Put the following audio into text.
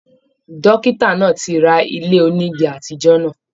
Dọ́kítà náà tí rà ilé onígí àtijọ náà.